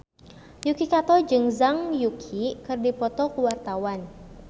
Yuki Kato jeung Zhang Yuqi keur dipoto ku wartawan